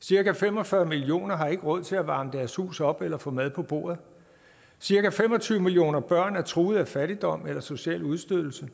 cirka fem og fyrre millioner har ikke råd til at varme deres hus op eller få mad på bordet og cirka fem og tyve millioner børn er truet af fattigdom eller social udstødelse